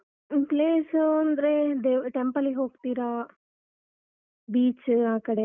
Place ಅಂದ್ರೆ ದೇವ್ temple ಗ್ ಹೋಗ್ತೀರಾ? beach ಆ ಕಡೆಯೆಲ್ಲ?